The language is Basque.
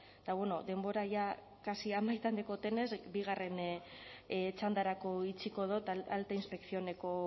eta bueno denbora jada kasik amaituta daukadanez bigarren txandarako utziko dut alta inspeccióneko